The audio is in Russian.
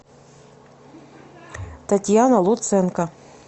татьяна луценко